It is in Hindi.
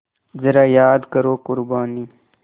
ज़रा याद करो क़ुरबानी